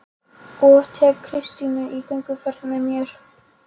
Og tek Kristínu í gönguferðir með mér